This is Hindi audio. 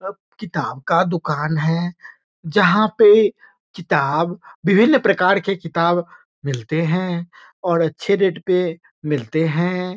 किताब का दुकान है जहाँ पे किताब विभिन्न प्रकार के किताब मिलते हैं और अच्छे रेट पे मिलते है।